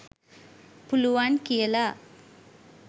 පුළුවන් කියලා.